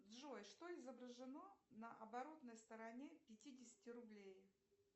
джой что изображено на оборотной стороне пятидесяти рублей